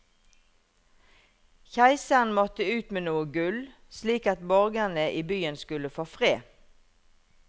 Keiseren måtte ut med noe gull, slik at borgerne i byen skulle få fred.